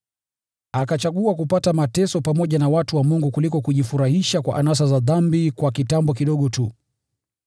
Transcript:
Akachagua kupata mateso pamoja na watu wa Mungu kuliko kujifurahisha kwa anasa za dhambi kwa kitambo kidogo tu.